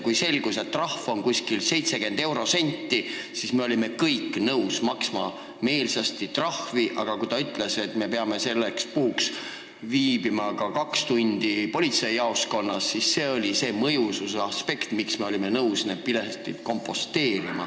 Kui selgus, et trahv on umbes 70 eurosenti, siis me olime kõik meelsasti nõus trahvi maksma, aga kui ta ütles, et me peame selle vormistamiseks viibima kaks tundi politseijaoskonnas, siis me olime kohe nõus need piletid ostma.